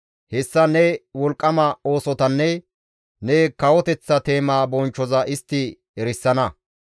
Hessan ne wolqqama oosotanne ne kawoteththa teema bonchchoza istti erisana.